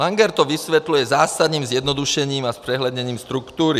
Langer to vysvětluje zásadním zjednodušením a zpřehledněním struktury.